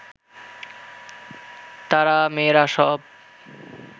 তারা, মেয়েরা সব